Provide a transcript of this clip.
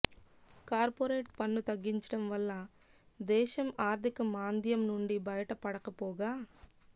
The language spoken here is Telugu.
కార్పొరేట్ పన్ను తగ్గించడం వల్ల దేశం ఆర్థిక మాంద్యం నుండి బయట పడకపోగా